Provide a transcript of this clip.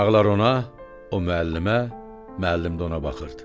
Uşaqlar ona, o müəllimə, müəllim də ona baxırdı.